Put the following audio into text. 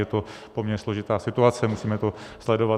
Je to poměrně složitá situace, musíme to sledovat.